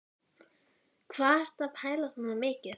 Hvað ertu að pæla svona mikið?